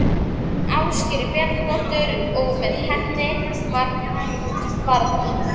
Ásgerði Bjarnardóttur og með henni margt barna.